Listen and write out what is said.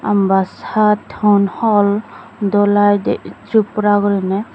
homba chaat hon hol dolaidey tiripura guriney.